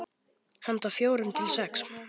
Handa fjórum til sex